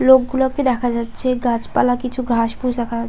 লোকগুলোকে দেখা যাচ্ছে গাছপালা কিছু ঘাস ফুস দেখা যাচ্ছে।